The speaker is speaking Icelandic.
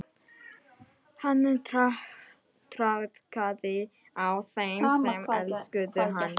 Hann traðkaði á þeim sem elskuðu hann.